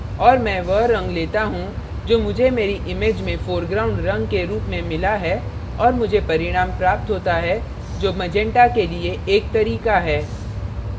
और मैं वह रंग लेता हूँ जो मुझे मेरी image में foreground रंग के रूप में मिला है और मुझे परिणाम प्राप्त होता है जो मैजंटा के लिए एक तरीका है